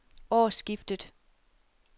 årsskiftet